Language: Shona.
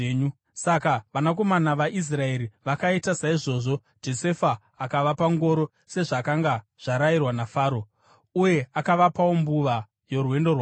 Saka vanakomana vaIsraeri vakaita saizvozvo. Josefa akavapa ngoro, sezvakanga zvarayirwa naFaro, uye akavapawo mbuva yorwendo rwavo.